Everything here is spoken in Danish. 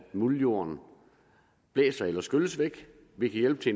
muldjorden blæses eller skylles væk vi kan hjælpe til